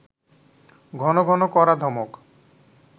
ঘন ঘন কড়া ধমক…